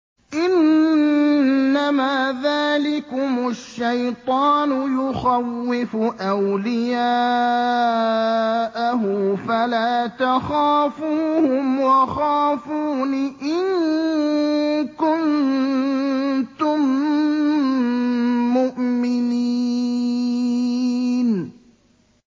إِنَّمَا ذَٰلِكُمُ الشَّيْطَانُ يُخَوِّفُ أَوْلِيَاءَهُ فَلَا تَخَافُوهُمْ وَخَافُونِ إِن كُنتُم مُّؤْمِنِينَ